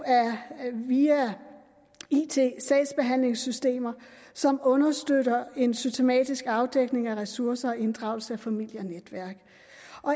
er it sagsbehandlingssystemer som understøtter en systematisk afdækning af ressourcer og inddragelse af familie og netværk